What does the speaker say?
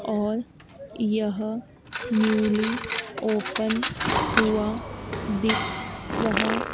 और यह newly open हुआ दिख रहा--